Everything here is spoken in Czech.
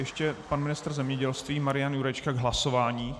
Ještě pan ministr zemědělství Marian Jurečka k hlasování.